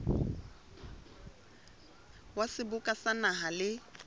wa seboka sa naha le